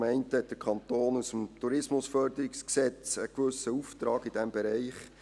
Zum einen hat der Kanton aus dem TEG einen gewissen Auftrag in diesem Bereich.